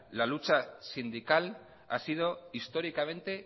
la lucha sindical ha sido históricamente